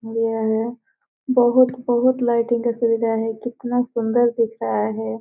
नया है बहुत-बहुत लाइट कितना सुन्दर दिख रहा है।